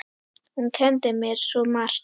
Hún kenndi mér svo margt.